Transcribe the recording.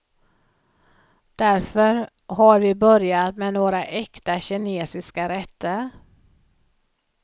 Därför har vi börjat med några äkta kinesiska rätter.